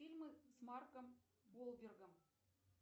фильмы с марком уолбергом